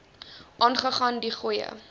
aangaan de goeie